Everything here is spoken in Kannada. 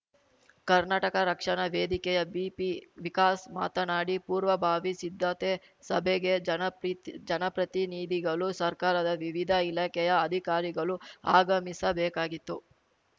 ಕರ್ನಾಟಕ ರಕ್ಷಣಾ ವೇದಿಕೆಯ ಬಿಪಿವಿಕಾಸ್‌ ಮಾತನಾಡಿ ಪೂರ್ವಭಾವಿ ಸಿದ್ದತೆ ಸಭೆಗೆ ಜನಪ್ರತಿನಿಧಿಗಳು ಸರ್ಕಾರದ ವಿವಿಧ ಇಲಾಖೆಯ ಅಧಿಕಾರಿಗಳು ಆಗಮಿಸ ಬೇಕಾಗಿತ್ತು